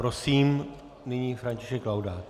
Prosím, nyní František Laudát.